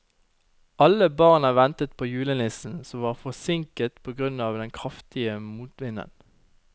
Alle barna ventet på julenissen, som var forsinket på grunn av den kraftige motvinden.